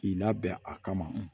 K'i labɛn a kama